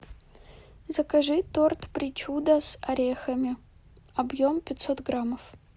закажи торт причуда с орехами объем пятьсот граммов